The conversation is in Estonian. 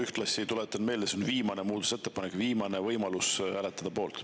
Ühtlasi tuletan meelde, et see on viimane muudatusettepanek, viimane võimalus hääletada poolt.